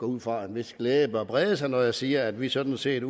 ud fra at en vis glæde bør brede sig når jeg siger at vi sådan set